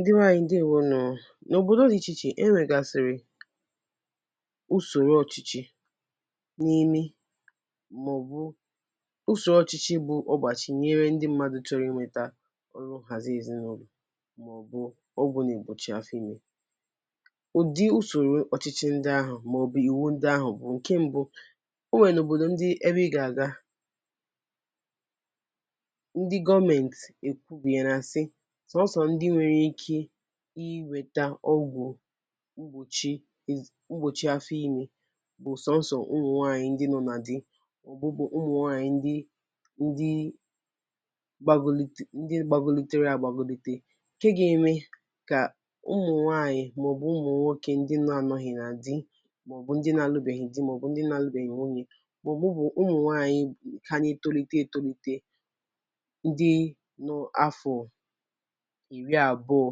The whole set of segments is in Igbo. Ndibe ànyị ndeewonu nú oo. N'obodo di ichè ichè e nwe gàsìrì usoro ọchịchị bu ogbachi nyere ndị mmadụ chọrọ inweta nhazi èzinàụlọ̀, ma ọ bu ọkwu na-egbochi afọ ime. Ụdi Usoro ọchịchi ndị ahụ maọbu íwú ndị ahụ bu. Nke m̀bụ enwere obodo ndi ebe I ga-aga ndi gọọmenti ekwubiala si sọsọ ndị nwere ike inweta ókwú mgbochi afọ ime bu soso umunwanyi ndị nọ ná di, ndị gbagolitere agbagolite, nke ga-eme ka umunwanyi maọbu umunwoke ndị anọghị na di maọbu ndị na alubeghi dị maọbu ndị alubeghi nwunye maọbu umunwaayi ka na-etolite etolite ndị dị afọ iri abụo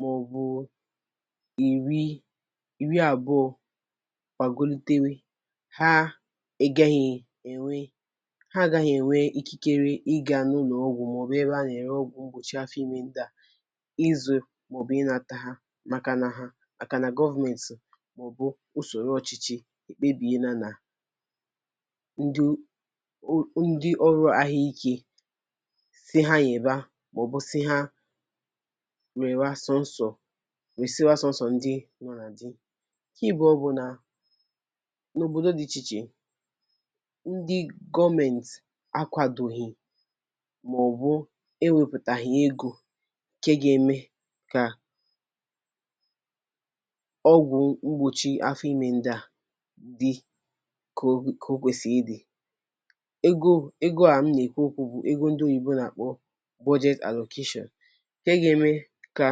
maọbu iri abụo gbagolitewe ha agaghi enwe ikikere ịga n'ụlọ ọgwụ maọbu ebe a na-ere ọgwụ mgbochi afọ ime ndị a izu maọbu inata ha. Maka na govmenti maọbu usoro ọchịchị ekpebiale na, ndị ọrụ ahụike si ha nyeba maọbu si nyesiwa soso ndị nọ ná di. Nke abụọ bu na n'obodo di iche iche ndị gọọmenti akwadoghi maọbu ewepụtaghi ego nke ga eme ka ọgwụ mgbochi afọ ime ndị dị ka o kwesịrị ịdị. Ego a m na ekwu okwu ya bu ego ndi oyibo na-akpọ "budget allocation"nke ga-eme ka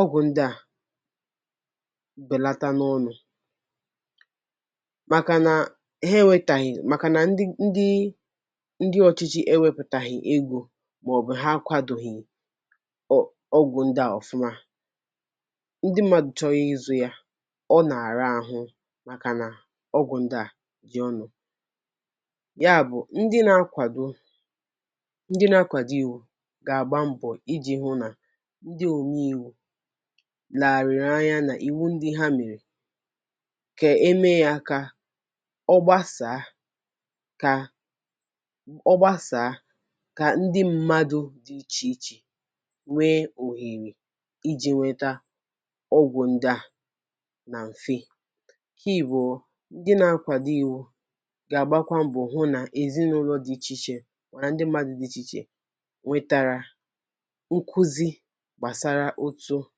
okwu ndị a belata n' ọnụ .Makana ndi ochichi ewepụtaghi ego maọbu na ha akwadoghi okwu ndị a ofụma ndị mmadụ chọrọ ịzụ ya ọ na-ara ahụ maka na ọkwu ndị a dị ọnụ. Ya bu ndi na-akwado iwu ga agba mbọ iji hụ na ndị omee íwú leghariri anya n' íwú ndi ha mere ka e mee ya ka ogbasaa, ka ndị mmadụ dị iche iche nwee ohere iji nweta ókwú ndị a na mfe. Nke abụọ ndị na-akwado iwu ga agbakwa mbọ hụ na ezinụlọ dị iche iche na ndị mmadụ dị iche iche nwetara nkuzi gbasara otu a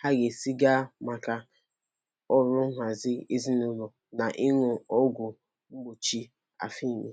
ga esi gaa maka ọrụ nhazi ezinụlọ na ịṅụ ọgwụ mgbochi afọ ime.